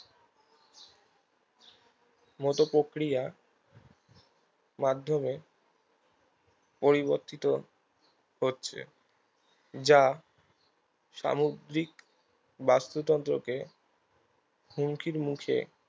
মতো প্রক্রিয়া মাধ্যমে পরিবর্তিত হচ্ছে যা সামুদ্রিক বাস্তুতন্ত্র কে হুমকির মুখে